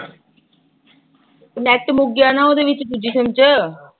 net ਮੁੱਕ ਗਿਆ ਨਾ ਉਹਦੇ ਵਿੱਚ ਦੂਜੇ ਸਿਮ ਚ